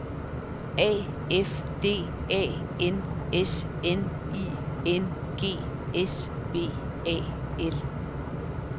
A F D A N S N I N G S B A L